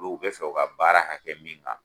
Olu bɛ fɛ u ka baara ka kɛ min kan